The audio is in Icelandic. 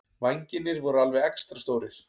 Vængirnir voru alveg extra stórir.